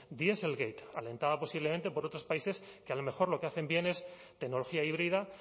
dieselgate alentada posiblemente por otros países que a lo mejor lo que hacen bien es tecnología híbrida